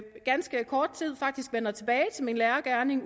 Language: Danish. ganske kort tid faktisk vender tilbage til min lærergerning